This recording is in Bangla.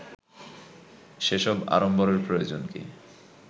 সে সব আড়ম্বরের প্রয়োজন কি